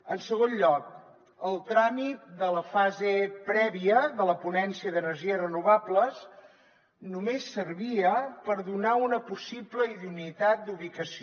en segon lloc el tràmit de la fase prèvia de la ponència d’energies renovables només servia per donar una possible idoneïtat d’ubicació